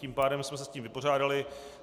Tím pádem jsme se s tím vypořádali.